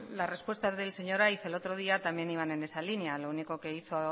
las respuestas del señor aiz el otro día también iban en esa línea lo único que hizo